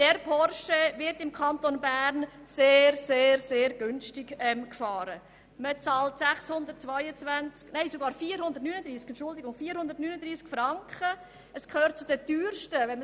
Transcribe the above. Dieser Porsche wird im Kanton Bern mit 439 Franken Steuer sehr, sehr günstig gefahren.